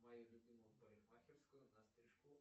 в мою любимую парикмахерскую на стрижку